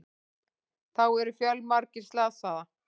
Þá eru fjölmargir slasað